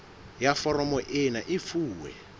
ya foromo ena e fuwe